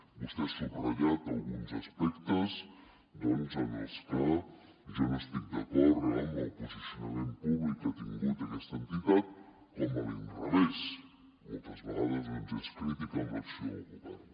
vostè ha subratllat alguns aspectes en els que jo no estic d’acord amb el posicionament públic que ha tingut aquesta entitat com a l’inrevés moltes vegades és crítica amb l’acció del govern